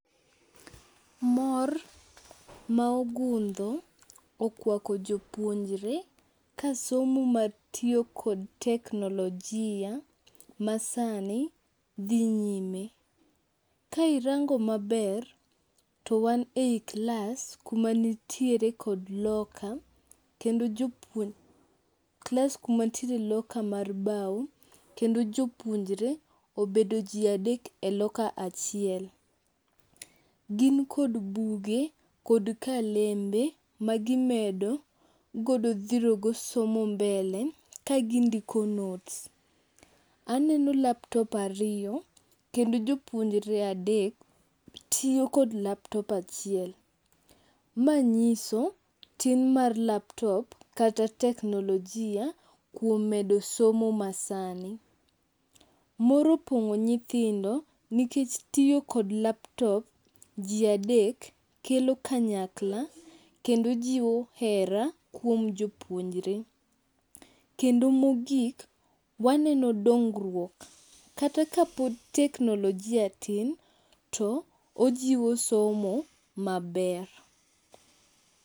Mor ma ogundho okwako jopuonjre ka somo matiyo kod teknolojia masani dhi nyime. Ka irango maber, to wan e i klas kuma nitiere kod loka kendo klas kuma nitiere loka mar bao kendo jopuonjre obedo ji adek e loka achiel. Gin kod buge kod kalembe magimedo godo dhirogo somo mbele ka gindiko notes. Aneno laptops ariyo kendo jopuonjre adek tiyo kod laptop achiel. Ma nyiso tin mar laptop kata teknolojia kuom medo somo masani. Mor opong'o nyithindo nikech tiyo kod laptop ji adek kelo kanyakla kendo jiwo hera kuom jopuonjre. Kendo mogik, waneno dongruok. Kata kapod teknolojia tin to ojiwo somo maber.